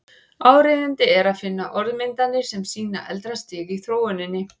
Áríðandi er að finna orðmyndir sem sýna eldra stig í þróuninni.